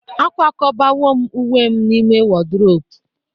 akwakọbawo m uwe m n'ime wardrobe